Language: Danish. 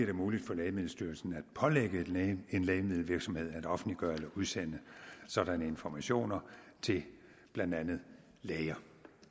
det muligt for lægemiddelstyrelsen at pålægge en lægemiddelvirksomhed at offentliggøre eller udsende sådanne informationer til blandt andet læger